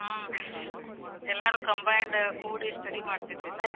ಹ್ಮ್. ಎಲ್ಲಾರು combined ಕೂಡಿ study ಮಾಡ್ತಿದ್ವಿ ನಾವ್.